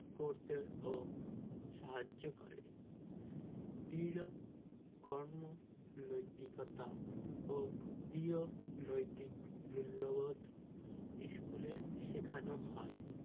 করতেও সাহায্য করে দৃঢ় কর্ম নৈতিকতা ও দৃঢ় নৈতিক মূল্যবোধ school এ শেখানো হয়